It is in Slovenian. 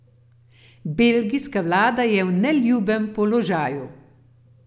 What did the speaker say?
Belgijska vlada je v neljubem položaju.